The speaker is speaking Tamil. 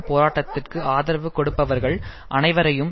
போராட்டத்திற்கு ஆதரவு கொடுப்பவர்கள் அனைவரையும்